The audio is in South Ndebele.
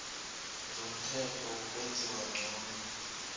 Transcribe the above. zomthetho wokwenziwa ngcono